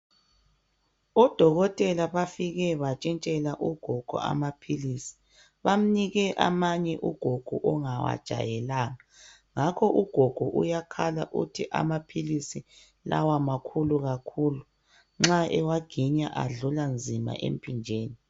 Odokotela bafike batshitshela ugogo amaphilisi bamnike amanye ugogo ongawajayelanga ngakho ugogo uyakhala uthi amaphilisi lawa makhulu kakhulu nxa ewaginya adlula nzima emphinjeni.